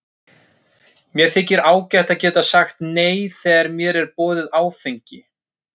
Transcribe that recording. Mér þykir ágætt að geta sagt nei þegar mér er boðið áfengi.